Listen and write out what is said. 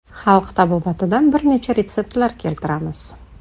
Xalq tabobatidan bir necha retseptlar keltiramiz.